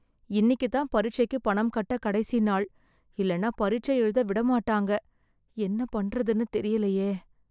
இன்னிக்குத் தான் பரீட்சைக்கு பணம் கட்ட கடைசி நாள், இல்லைனா பரீட்சை எழுத விட மாட்டாங்க. என்ன பண்றதுன்னு தெரிலேயே.